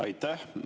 Aitäh!